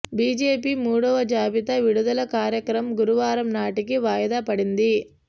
BJP మూడవ జాబితా విడుదల కార్యక్రమం గురువారం నాటికి వాయిదా పడింది